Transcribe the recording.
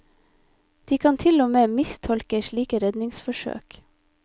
De kan til og med mistolke slike redningsforsøk.